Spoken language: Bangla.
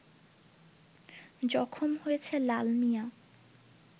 জখম হয়েছে লালমিয়া